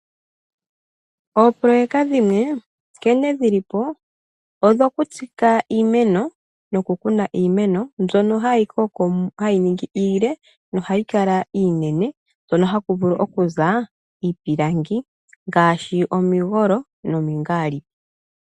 Opololeka dhimwe nkene dhilipo odho ku tsika iimeno noku kuna iimeno mbyoka hayi koo hayi ningi iile na ohayi kala inene hoka haku vulu okuza iipilangi ngaashi omigolo nomingalipi.